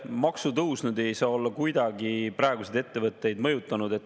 Maksutõus ei saa kuidagi olla praeguseid ettevõtteid mõjutanud.